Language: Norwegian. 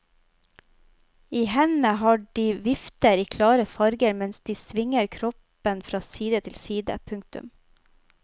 I hendene har de vifter i klare farver mens de svinger kroppen fra side til side. punktum